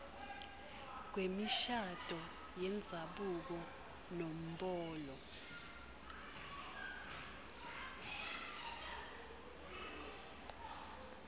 kwemishado yendzabuko nombolo